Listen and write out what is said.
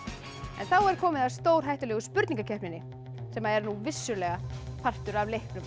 en þá er komið að stórhættulegu spurningakeppninni sem er vissulega partur af leiknum